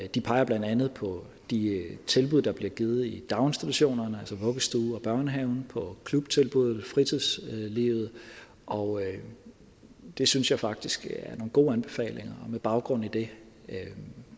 de peger blandt andet på de tilbud der bliver givet i daginstitutionerne og børnehaven på klubtilbud i fritidslivet og det synes jeg faktisk er nogle gode anbefalinger og med baggrund i det